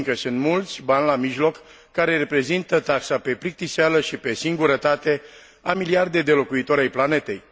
Fiindcă sunt mulți bani la mijloc care reprezintă taxa pe plictiseală și pe singurătate a miliarde de locuitori ai planetei.